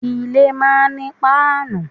Ilé máa ń ní páànù.